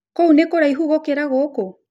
Kũu nĩ kũraihu gũkĩra gũkũ?